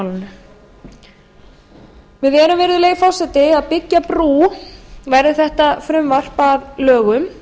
táknmálinu við erum virðulegi forseti að byggja brú verði þetta frumvarp að lögum